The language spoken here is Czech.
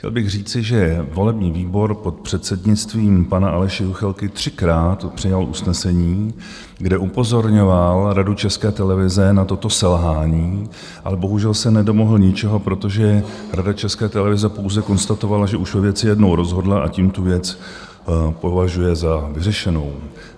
Chtěl bych říci, že volební výbor pod předsednictvím pana Aleše Juchelky třikrát přijal usnesení, kde upozorňoval Radu České televize na toto selhání, ale bohužel se nedomohl ničeho, protože Rada České televize pouze konstatovala, že už ve věci jednou rozhodla, a tím tu věc považuje za vyřešenou.